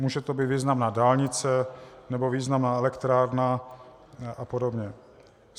Může to být významná dálnice nebo významná elektrárna a podobně.